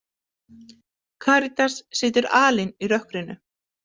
Karítas situr alein í rökkrinu.